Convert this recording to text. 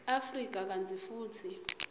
afrika kantsi futsi